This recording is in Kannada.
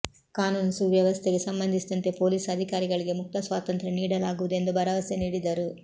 ಕಾನೂನು ಸುವ್ಯವಸ್ಥೆಗೆ ಸಂಬಂಧಿಸಿದಂತೆ ಪೊಲೀಸ್ ಅಧಿಕಾರಿಗಳಿಗೆ ಮುಕ್ತ ಸ್ವಾತಂತ್ರ್ಯ ನೀಡಲಾಗುವುದು ಎಂದು ಭರವಸೆ ನೀಡಿದರು